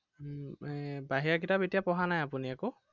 উম এৰ বাহিৰা কিতাপ এতিয়া পঢ়া নাই আপুনি একো?